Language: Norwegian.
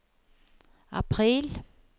april